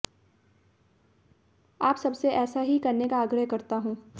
आप सब से ऐसा ही करने का आग्रह करता हूं